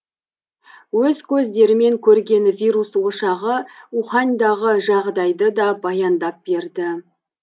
өз көздерімен көрген вирус ошағы уханьдағы жағдайды да баяндап берді